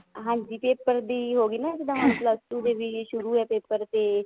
ਹਾਂਜੀ paper ਦੀ ਹੋਗੀ ਨਾ ਇੱਕ ਤਾਂ ਮਤਲਬ ਉਰੇ ਵੀ ਸ਼ੁਰੂ ਆ paper ਤੇ